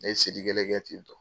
Ne ye seli kelen kɛ ten tɔn.